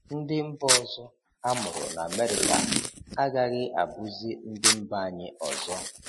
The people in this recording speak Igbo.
Ndị mba ọzọ amụrụ n'Amerịka agaghị abụzị ndị mba anyị ọzọ.